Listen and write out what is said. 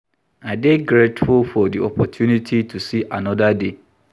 I dey grateful for di opportunity to see anoda day.